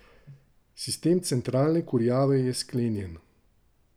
Sistem centralne kurjave je sklenjen.